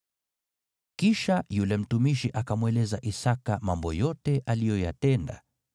Kisha yule mtumishi akamweleza Isaki mambo yote aliyoyatenda.